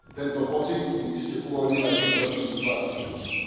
Tento pocit by iste uvoľnil aj vnútornú situáciu v Rusku.